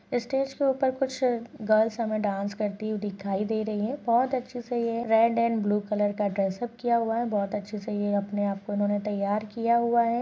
Stage के ऊपर कुछ गर्ल्स हमे डांस करती हुई दिखाई दे रही हैं बहोत अच्छे से ये रेड एंड ब्लू कलर का ड्रेसअप किया हुआ है बहोत अच्छे से ये अपने आप को उन्होंने तैयार किया हुआ है।